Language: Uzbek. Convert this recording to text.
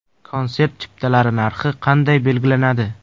Konsert chiptalari narxi qanday belgilanadi?